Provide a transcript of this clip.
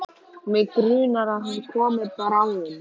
Mig grunar að hann komi bráðum.